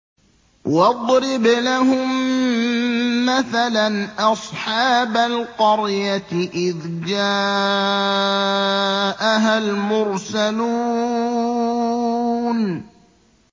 وَاضْرِبْ لَهُم مَّثَلًا أَصْحَابَ الْقَرْيَةِ إِذْ جَاءَهَا الْمُرْسَلُونَ